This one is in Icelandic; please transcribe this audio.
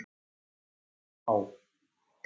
Það má